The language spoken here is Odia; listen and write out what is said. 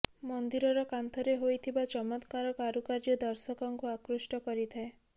ମନ୍ଦିରର କାନ୍ଥରେ ହୋଇଥିବା ଚମତ୍କାର କାରୁକାର୍ଯ୍ୟ ଦର୍ଶକଙ୍କୁ ଆକୃଷ୍ଟ କରିଥାଏ